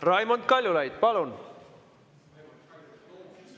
Raimond Kaljulaid, palun!